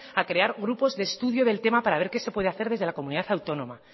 a crear grupos de estudios del tema para ver qué se puede hacer desde la comunidad autónoma